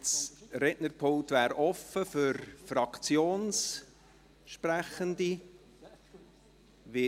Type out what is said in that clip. Das Rednerpult steht für Fraktionssprechende frei.